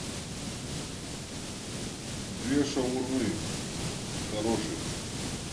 две шаурмы хороших